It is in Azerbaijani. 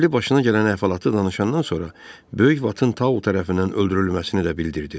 Qəzəbli başına gələn əhvalatı danışandan sonra, böyük Vatın Tao tərəfindən öldürülməsini də bildirdi.